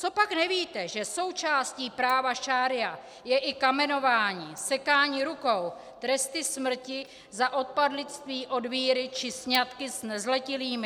Copak nevíte, že součástí práva šaría je i kamenování, sekání rukou, tresty smrti za odpadlictví od víry či sňatky s nezletilými?